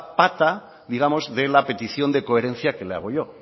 pata de la petición de coherencia que le hago yo